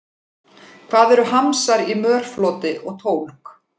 Hvað eru hamsar í mörfloti og tólg?